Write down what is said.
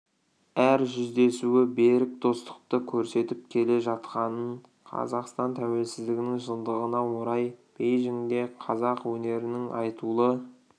әр жүздесуі берік достықты көрсетіп келе жатқанын қазақстан тәуелсіздігінің жылдығына орай бейжіңде қазақ өнерінің айтулы